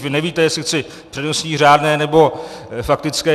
Vy nevíte, jestli chci přednostní, řádné nebo faktické.